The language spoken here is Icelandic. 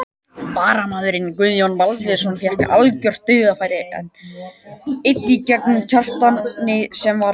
Varamaðurinn Guðjón Baldvinsson fékk algjört dauðafæri einn gegn Kjartani sem varði vel.